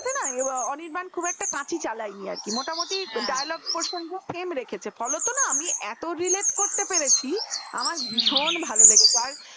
অনির্বাণ খুব একটা কাছি চালাইনি হাঁ আর কি মতামত dialogue প্রশ্নটা সেম রেখেছে ফলতো না আমি এত রিলাতে করতে পেরেছি আমার ভীষণ ভালো লেগেছে